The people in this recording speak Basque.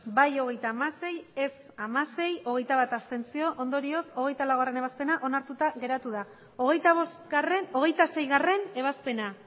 bai hogeita hamasei ez hamasei abstentzioak hogeita bat ondorioz hogeita laugarrena ebazpena onartuta geratzen da hogeita seigarrena ebazpena